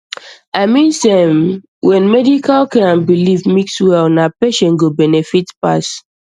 i mean sey erm when medical care and belief mix well na patient go benefit pass